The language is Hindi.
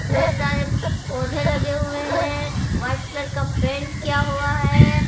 ढेर सारे पौधे लगे हुए हैं व्हाइट कलर का पेंट किया हुआ है।